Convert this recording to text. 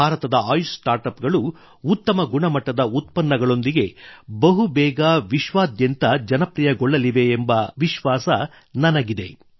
ಭಾರತದ Ayush startup ಗಳು ಉತ್ತಮ ಗುಣಮಟ್ಟದ ಉತ್ಪನ್ನಗಳೊಂದಿಗೆ ಬಹುಬೇಗ ವಿಶ್ವಾದ್ಯಂತ ಜನಪ್ರಿಯಗೊಳ್ಳಲಿವೆ ಎಂಬ ವಿಶ್ವಾಸ ನನಗಿದೆ